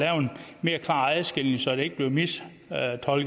mere klar adskillelse så det ikke bliver mistolket og